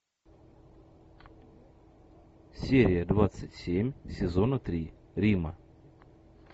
серия двадцать семь сезона три рима